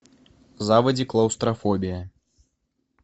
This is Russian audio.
заводи клаустрофобия